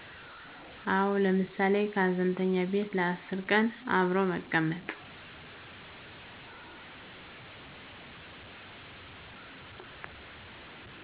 አዎ ለምሳሌ ከሀዘንተኛው ቤት ለ10 ቀን አብሮ መቀመጥ